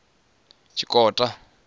tshikota